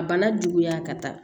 A bana juguya ka taa